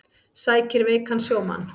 Sækir veikan sjómann